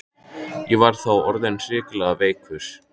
Ég var þá orðinn hrikalega veikur.